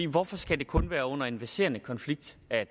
hvorfor skal det kun være under en verserende konflikt at